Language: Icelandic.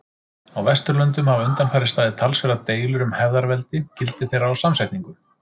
Á Vesturlöndum hafa undanfarið staðið talsverðar deilur um hefðarveldi, gildi þeirra og samsetningu.